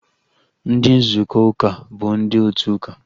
Ndị nzukọ uka bụ ndị otu ụka